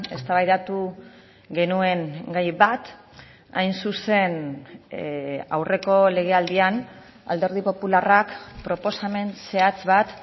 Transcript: eztabaidatu genuen gai bat hain zuzen aurreko legealdian alderdi popularrak proposamen zehatz bat